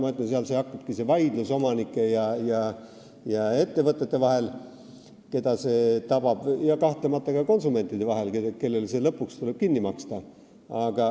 Ma ütlen, et seal hakkabki vaidlus omanike ja ettevõtete vahel, keda see tabab, ja kahtlemata ka konsumentide vahel, kellel tuleb see lõpuks kinni maksta.